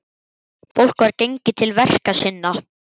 Fólk var gengið til verka sinna.